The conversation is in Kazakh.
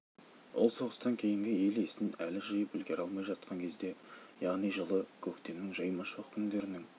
ол соғыстан кейінгі ел есін әлі жиып үлгере алмай жатқан кезде яғни жылы көктемнің жаймашуақ күндерінің